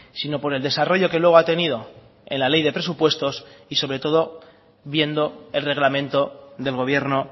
sino por el desarrollo que luego ha atenido en la ley de presupuestos y sobre todo viendo el reglamento del gobierno